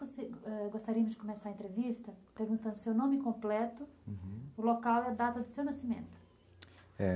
ãh, gostaríamos de começar a entrevista perguntando o seu nome completo, uhum, o local e a data do seu nascimento. É,